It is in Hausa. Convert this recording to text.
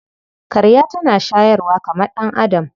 Karya tana shayarwa tamkar ɗan'adam.